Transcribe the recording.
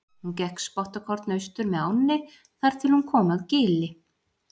Hún gekk spottakorn austur með ánni þar til hún kom að gili.